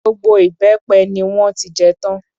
Gbogbo ìbẹ́pẹ ni wọ́n ti jẹ tán.